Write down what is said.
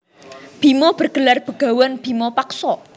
Bima bergelar bagawan bima paksa